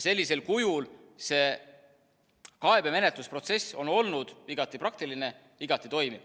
Sellisel kujul see kaebemenetlusprotsess on olnud igati praktiline, igati toimiv.